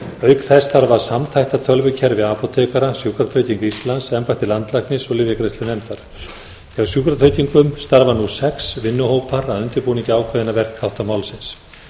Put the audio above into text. auk þess þarf að samþætta tölvukerfi apótekara sjúkratryggingum íslands embætti landlæknis og lyfjagreiðslunefndar hjá sjúkratryggingum starfa nú sex vinnuhópar að undirbúningi ákveðinna verkþátta málsins